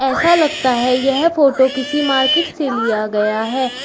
ऐसा लगता है यह फोटो किसी मार्केट से लिया गया है।